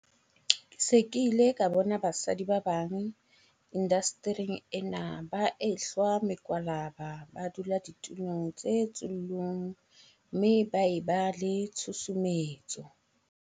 Ke se ke ile ka bona basadi ba bang indastering ena ba ehlwa mekwalaba ba dula ditulong tse tsullung mme ba e ba le tshusumetso.